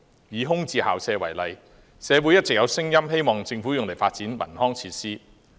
以空置校舍為例，社會一直有聲音希望政府用作發展文康設施。